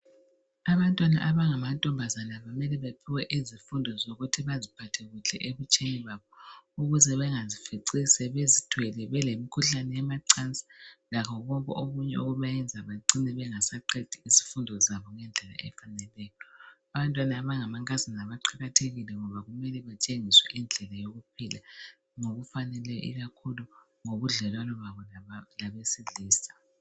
Abantwana abangamantombazana kumele bephiwe izifundo zokuthi kumele baziphathe kuhle ebutsheni babo ukuze bengazifici sebezithwele belemkhuhlane yemacansini lakho konke okunye okuyabayenza bacine bengasaqedi izifundo zabo ngendlela efaneleyo. Abantwana abangamankazana baqakathekile ngoba kumele kutshengiswe indlela yokuphila ngokufaneleyo ikakhulu ngobudlelwano babo labesilisa.